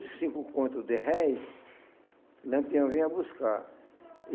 e cinco conto de réis, Lampião venha buscar.